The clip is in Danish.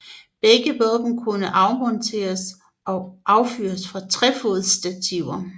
Begge våben kunne afmonteres og affyres fra trefodsstativer